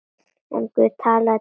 En Guð talaði til hennar.